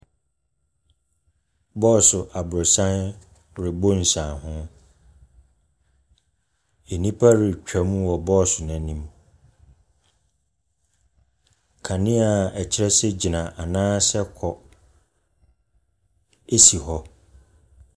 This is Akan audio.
Bɔɔso aborɔsan rebɔ nsianeho. Nnipa retwam wɔ bɔɔso no anim. Kanea a ɛkyerɛ sɛ gyina anaa sɛ kɔ si hɔ.